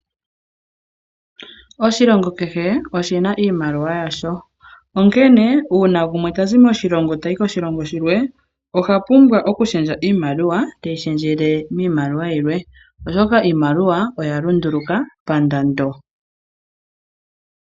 Oshilongo kehe oshi na iimaliwa yasho, onkene uuna gumwe ta zi moshilongo tayi moshilongo shilwe oha pumbwa okushendja iimaliwa teyi shendjele miimaliwa yilwe, oshoka iimaliwa oya lunduluka pandando.